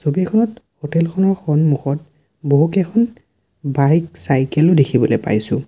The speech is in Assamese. ছবিখনত হোটেলখনৰ সন্মুখত বহুকেইখন বাইক চাইকেল দেখিবলৈ পাইছোঁ।